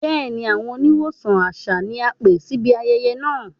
Bẹẹni, awọn oníwọsan àṣà ni a pẹ̀ síbí ayẹyẹ́ náà.